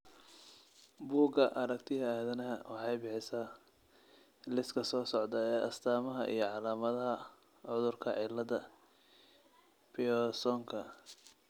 Bugga Aragtiyaha Aadanaha waxay bixisaa liiska soo socda ee astaamaha iyo calaamadaha cudurka cillada Piersonka.